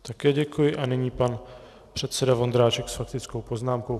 Také děkuji a nyní pan předseda Vondráček s faktickou poznámkou.